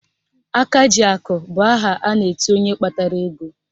Akajiakụ bụ aha a na-etu onye kpatara ego